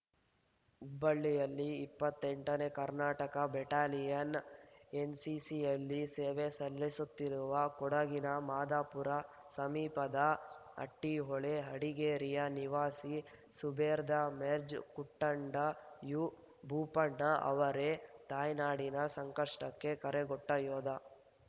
ಹುಬ್ಬಳ್ಳಿಯಲ್ಲಿ ಇಪ್ಪತ್ತಂಟ ನೇ ಕರ್ನಾಟಕ ಬೆಟಾಲಿಯನ್‌ನ ಎನ್‌ಸಿಸಿಯಲ್ಲಿ ಸೇವೆ ಸಲ್ಲಿಸುತ್ತಿರುವ ಕೊಡಗಿನ ಮಾದಾಪುರ ಸಮೀಪದ ಹಟ್ಟಿಹೊಳೆ ಹಡಗೇರಿಯ ನಿವಾಸಿ ಸುಬೇದಾರ್‌ ಮೇಜರ್‌ ಕುಟ್ಟಂಡ ಯು ಭೂಪಣ್ಣ ಅವರೇ ತಾಯ್ನಾಡಿನ ಸಂಕಷ್ಟಕ್ಕೆ ಕರೆಗೊಟ್ಟಯೋಧ